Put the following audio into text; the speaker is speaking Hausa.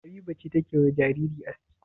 Habiba ce take wa jariri aski?